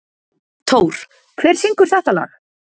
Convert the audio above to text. Thór, hver syngur þetta lag?